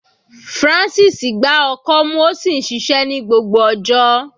Francis gbá ọkọ́ mú ó sì ṣiṣẹ́ ní gbogbo ọjọ́.